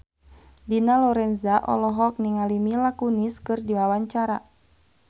Dina Lorenza olohok ningali Mila Kunis keur diwawancara